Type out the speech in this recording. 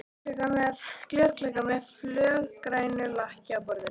Glerkrukka með fölgrænu lakki á borðinu.